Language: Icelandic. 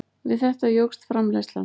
Við þetta jókst framleiðslan.